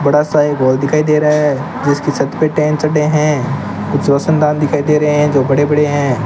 बड़ा सा एक हॉल दिखाई दे रहा है जिसके छत पे टैंक चढ़े है कुछ रोशनदान दिखाई दे रहे जो बड़े-बड़े है।